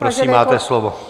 Prosím, máte slovo.